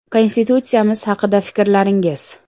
Konstitutsiyamiz haqida fikrlaringiz.